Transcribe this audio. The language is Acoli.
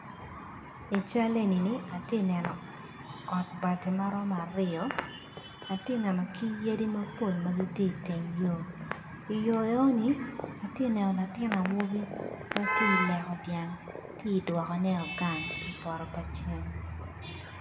I cal eni ni atye ka neno ot bati ma romo aryo atye kaneno ki yadi mapol ma gitye iteng yor i yor eno ni atye ka neno latin awobi ma tye ileko dyang tye idwokone gang i poto pa ceng.